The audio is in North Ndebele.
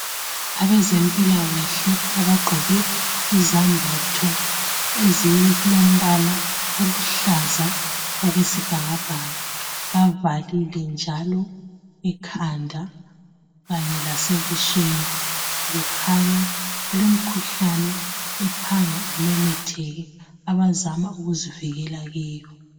Abezempilakahle abagqoke izambatho , ezilombala oluhlaza okwesibhakabhaka. Bavalile njalo ekhanda kanye lasebusweni . Kukhanya kulemikhuhlane ephanga imemetheke abazama ukuzivikela kiyo.